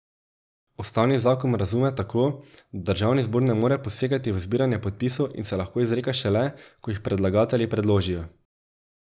Ustavni zakon razume tako, da državni zbor ne more posegati v zbiranje podpisov in se lahko izreka šele, ko jih predlagatelji predložijo.